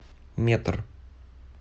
метр